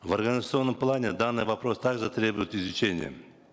в организационном плане данный вопрос также требует изучения